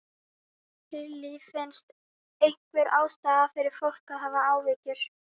Lillý: Finnst einhver ástæða fyrir fólk að hafa áhyggjur?